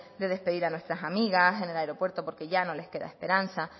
de despedir a nuestras amigas en el aeropuerto porque ya no les queda esperanza